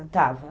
Estava.